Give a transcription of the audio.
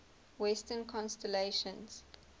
western constellations